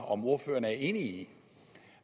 om ordføreren er enig i